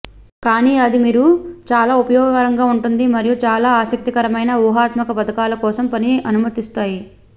కానీ అది మీరు చాలా ఉపయోగకరంగా ఉంటుంది మరియు చాలా ఆసక్తికరమైన వ్యూహాత్మక పథకాలు కోసం పని అనుమతిస్తాయి